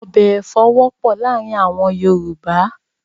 Ọbẹ̀ èfọ̀ wọ́pọ̀ láàárìn àwọn Yorùbá